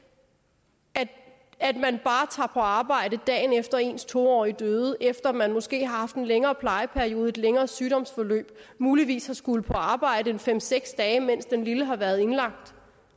at man bare tager på arbejde dagen efter at ens to årige døde efter at man måske har haft en længere plejeperiode et længere sygdomsforløb muligvis har skullet på arbejde en fem seks dage mens den lille har været indlagt